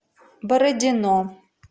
бородино